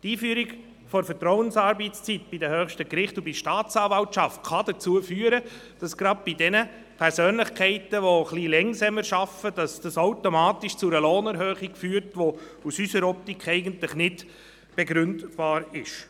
Die Einführung der Vertrauensarbeitszeit bei den höchsten Gerichten und bei der Staatsanwaltschaft kann dazu führen, dass es gerade bei denjenigen Persönlichkeiten, die etwas langsamer arbeiten, automatisch zu einer Lohnerhöhung führt, die aus unserer Sicht eigentlich nicht begründet werden kann.